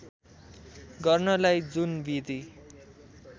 गर्नलाई जुन विधि